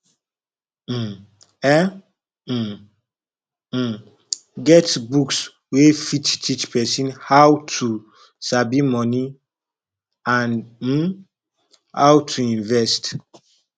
um e um um get books wey fit teach person how to sabi money and um how to invest